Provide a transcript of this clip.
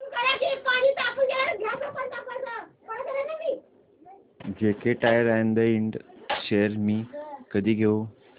JK Tyre and इंड shares मी कधी घेऊ